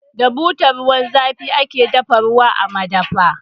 Da butar ruwan zafi ake dafa ruwa a madafa.